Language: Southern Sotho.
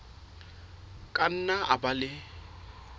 ka nna a ba le